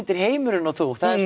er heimurinn og þú það er